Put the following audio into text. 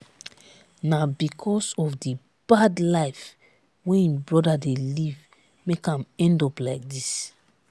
na because of the bad life wey im brother dey live make am end up like dis